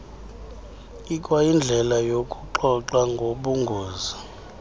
ikwayindlela yokuxoxa ngobungozi